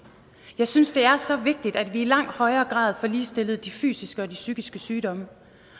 jeg synes det er så vigtigt at vi i langt højere grad får ligestillet de fysiske og de psykiske sygdomme